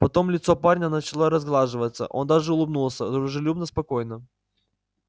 потом лицо парня начало разглаживаться он даже улыбнулся дружелюбно спокойно